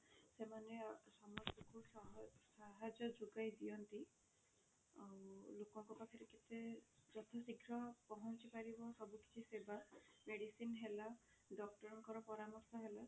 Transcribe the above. ସେମାନେ ଅ ସମସ୍ତଙ୍କୁ ସହଜ ସାହାଯ୍ୟ ଯୋଗାଇ ଦିଅନ୍ତି ଆଉ ଲୋକଙ୍କ ପାଖରେ କେତେ ଯଥା ଶ୍ରୀଘ୍ର ପହଞ୍ଚି ପାରିବ ସବୁ କିଛି ସେବା medicine ହେଲା doctor ଙ୍କର ପରାମର୍ଶ ହେଲା